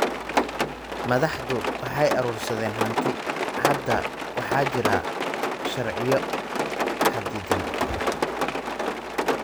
Madaxdu waxay urursadeen hanti. Hadda waxaa jira sharciyo xaddidan.